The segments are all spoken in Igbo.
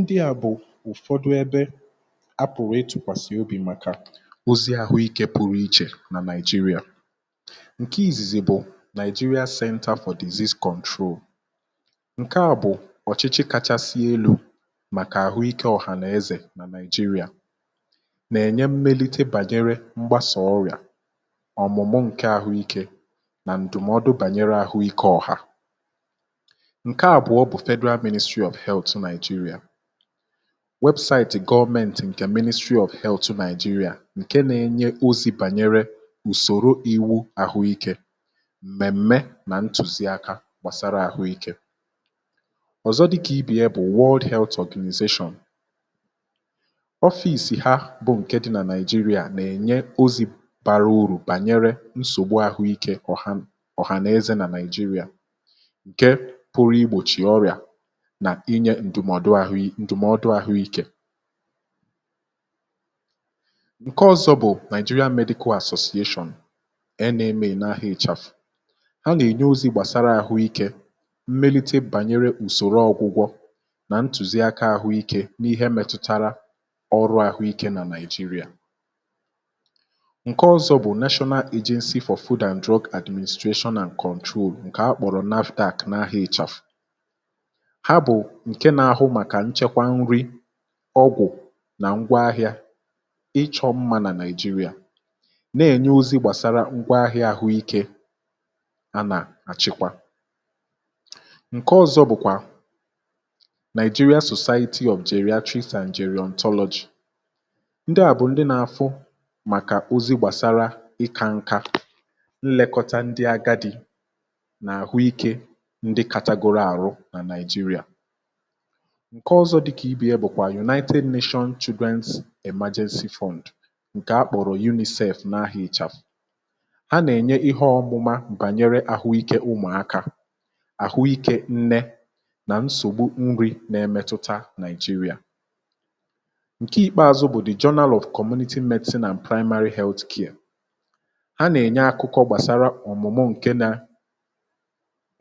ndị à bụ̀ ụ̀fọdụ ebe apụ̀wa ị tụ̀kwàsị̀ obì màkà ozi àhụ ikė pụrụ ichè nà nigeria um. ǹke izizi bụ̀ nigeria sette afọ̀dizis control. ǹke à bụ̀ ọ̀chịchị kachasị elu̇ màkà àhụ ikė ọ̀hànaezè nà nigeria um nà-ènye mmelite bànyere mgbasà ọrịà ọ̀mụ̀mụ ǹke àhụ ikė nà ǹdụ̀mọdụ bànyere àhụ ikė ọ̀hà. weebụsaịtị̀ gọọmentì ǹkè ministry of health Nigeria ǹke nȧ-enye ozi bànyere ùsòro iwu̇ ahụ ikė m̀mèm̀me nà ntùzi akȧ gbàsara àhụ ikė ọ̀zọ um, dịkà ibè ya bụ̀ wawọ dị̇ health organization ọfị̇sị̀ ha bụ̀ ǹke dị nà nigeria nà-ènye ozi̇ bara urù bànyere nsògbu àhụ ikė ọ̀hà ọ̀hànize nà Nigeria. ǹdùmọdụ àhụikė ǹke ọ̀zọ bụ̀ Nigeria medical association ẹ nà emè nà ahụ̀ ịchàfụ̀ ha nà ènye ozi gbàsara àhụikė mmelite bànyere ùsòrò ọ̀gwụgwọ um nà ntùzi akȧ àhụikė n’ihe mẹtụtara ọrụ àhụikė nà Nigeria. ǹke ọ̀zọ bụ̀ national agency for children and drug and control ǹkè akpọ̀rọ̀ napdu̇k nà ahụ̀ ịchàfụ̀ ọgwụ̀ nà ngwa ahịȧ ịchọ̇ mmȧ nà nigeria na-ènye ozi gbàsara ngwa ahịȧ àhụikė a nà-àchịkwà um. ǹke ọ̇zọ̇ bụ̀kwà Nigeria cooperative ofimaịtị objere, trade technology ndị à bụ̀ ndị nȧ-àfụ màkà ozi gbàsara ịkȧ nkȧ nlẹkọta ndị agadi nà àhụikė ndị katagoro àrụ nà Nigeria. ǹke ọzọ dịkà ibè ya bụ̀ kwà united nations children's fund ǹke a kpọ̀rọ̀ unicide n’ahịa ịchà ha nà-ènye ihe ọmụma m̀bànyere ahụikė ụmụ̀akȧ àhụikė nne nà nsògbu nri nà-emetụta nigeria. ǹke ikpeazụ bụ̀ dị̀ john Aloe commonitii meti nà primary health anya ha nà-ènye akụkọ gbàsara ọ̀mụ̀mụ ǹke nȧ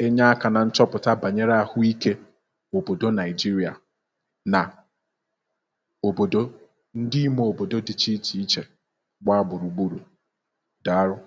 enye aka na nchọpụta bànyere àhụikė òbòdo ndị ime òbòdo dịcha ichè ichè gbaa gbùrùgburù dàarụ um.